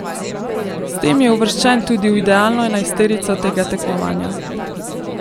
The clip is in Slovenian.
S tem je uvrščen tudi v idealno enajsterico tega tekmovanja.